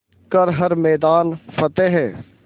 कर हर मैदान फ़तेह